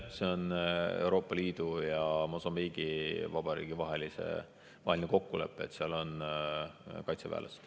See on Euroopa Liidu ja Mosambiigi Vabariigi vaheline kokkulepe, et seal on kaitseväelased.